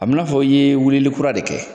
A b'i n'a fɔ i ye wilili kura de kɛ.